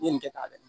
I ye nin kɛ tan dɛ